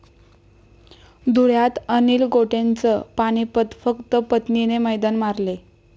धुळ्यात अनिल गोटेंचं पानिपत, फक्त पत्नीने मैदान मारले!